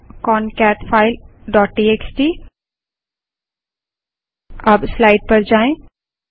cat concat file dot TXT अब slide पर जाएँ